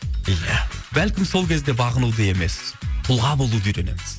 ия бәлкім сол кезде бағынуды емес тұлға болуды үйренеміз